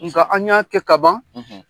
Nka an y'a kɛ kaban